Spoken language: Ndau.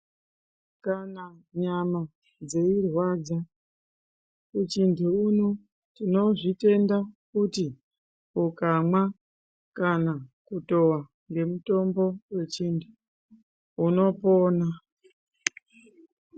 Kana nyama dzeirwadza kuchintu uno, tinozvitenda kuti ukamwa kana kutova ngemitombo yechintu, unopona.